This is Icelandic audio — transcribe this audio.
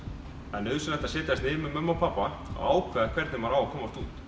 það er nauðsynlegt að setjast niður með mömmu og pabba og ákveða hvernig maður á að komast út